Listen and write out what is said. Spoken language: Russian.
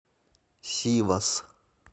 сивас